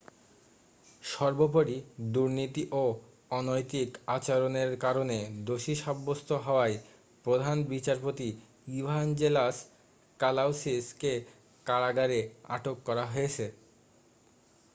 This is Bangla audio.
সর্বোপরি দুর্নীতি ও অনৈতিক আচরণের কারণে দোষী সাব্যস্ত হওয়ায় প্রধান বিচারপতি ইভাঞ্জেলাস কালাউসিস কে কারাগারে আটক করা হয়েছে